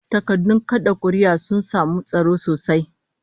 Takardun kad'a kuri'ar sun samu tsaro sosai